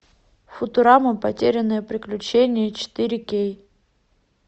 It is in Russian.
футурама потерянное приключение четыре кей